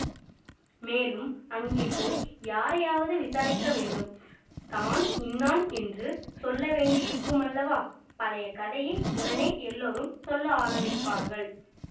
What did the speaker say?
மேலும் அங்கே போய் யாரையாவது விசாரிக்க வேண்டும் தான் இன்னான் என்று சொல்ல வேண்டியிருக்குமல்லவா பழைய கதையை உடனே எல்லாரும் சொல்ல ஆரம்பிப்பார்கள்